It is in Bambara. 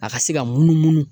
A ka se ka munumunu